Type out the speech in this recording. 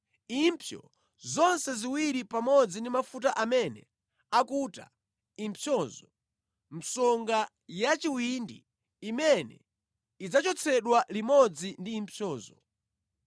impsyo zonse ziwiri pamodzi ndi mafuta amene akuta impsyozo, msonga ya chiwindi imene idzachotsedwere limodzi ndi impsyozo.